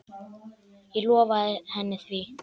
Ég lofaði henni því.